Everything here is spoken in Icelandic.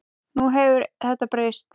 Nú hefur þetta breyst.